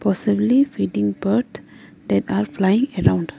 possibly feeding bird that are flying around.